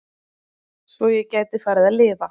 Svo ég gæti farið að lifa.